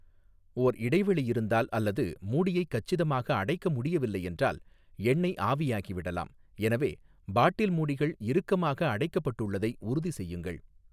ஓர் இடைவெளி இருந்தால் அல்லது மூடியைக் கச்சிதமாக அடைக்க முடியவில்லை என்றால் எண்ணெய் ஆவியாகிவிடலாம், எனவே பாட்டில் மூடிகள் இறுக்கமாக அடைக்கப்பட்டுள்ளதை உறுதிசெய்யுங்கள்.